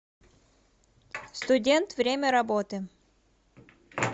студент время работы